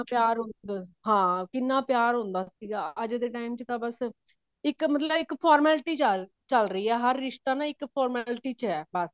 ਚਾਰ ਉਹ ਹਾਂ ਕਿੰਨਾ ਪਿਆਰ ਹ੍ਹੁੰਦਾ ਸੀਗਾ ਅੱਜ ਦੇ time ਤਾਂ ਬਸ ਇੱਕ ਮਤਲਬ ਇੱਕ formality ਚ ਆ ਚਲ ਰਹੀ ਹੈ ਹਰ ਰਿਸ਼ਤਾ ਨਾ ਬਸ ਇੱਕ formality ਚ ਹੈ ਬਸ